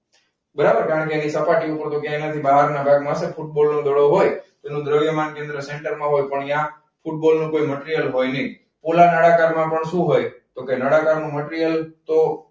બરાબર કારણ કે અહીં તપાસયુ હતું કે અહીંયા થી બહાર ના ભાગ માં હસે. football નો દડો હોય તેનું દ્રવ્ય માં કેન્દ્ર સેંટર માં હોય પણ અહીંયા football કોઈ મટિરિયલ હોય નહીં. પોલા નળાકારમાં પણ સુ હોય? તો નળાકારનું મટિરિયલ તો